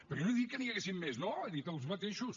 però jo no he dit que n’hi haguessin més no he dit els mateixos